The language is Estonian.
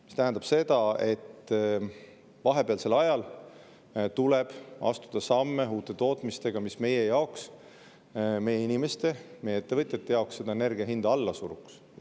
See tähendab seda, et vahepealsel ajal tuleb astuda samme uute tootmiste suunas, mis meie jaoks – meie inimeste, meie ettevõtjate jaoks – energia hinda alla suruks.